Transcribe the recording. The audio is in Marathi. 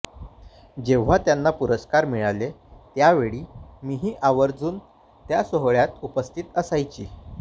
जेव्हा त्यांना पुरस्कार मिळाले त्यावेळी मी ही आवर्जुन त्या सोहळ्यांत उपस्थित असायची